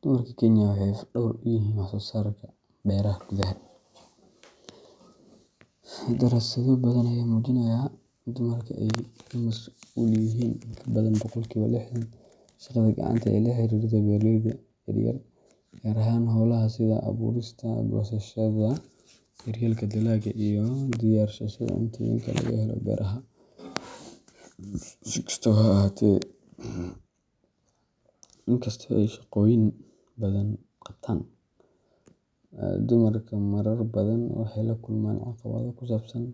Dumarka Kenya waxay laf-dhabar u yihiin wax-soo-saarka beeraha gudaha. Daraasado badan ayaa muujinaya in dumarka ay ka mas’uul yihiin in ka badan boqolkiba lixdan shaqada gacanta ee la xiriirta beeralayda yaryar, gaar ahaan hawlaha sida abuurista, goosashada, daryeelka dalagga, iyo diyaarsashada cuntooyinka laga helo beeraha. Si kastaba ha ahaatee, inkastoo ay shaqooyin badan qabtaan, dumarka marar badan waxay la kulmaan caqabado ku saabsan